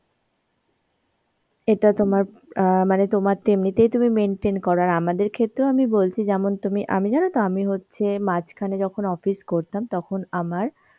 এটা তোমার অ্যাঁ মানে তোমার তো এমনিতেই তুমি maintain কর আর আমাদের ক্ষেত্রেও আমি বলছি যেমন তুমি আমি জানো তো আমি হচ্ছে মাঝখানে যখন office করতাম তখন আমার